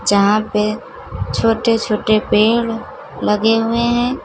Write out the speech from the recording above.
यहां पे छोटे छोटे पेड़ लगे हुए हैं।